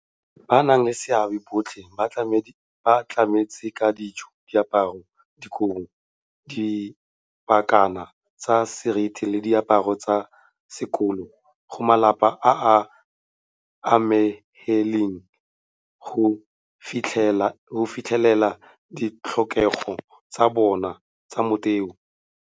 Bannaleseabe botlhe ba tlametse ka dijo, diaparo, dikobo, dipakana tsa seriti le diaparo tsa sekolo go malapa a a amegileng go fitlhelela ditlhokego tsa bona tsa motheo.